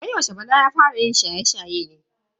Wai yaushe bala ya fara shaye-shaye ne?